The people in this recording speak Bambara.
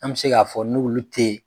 An bɛ se k'a fɔ n'uolu te yen.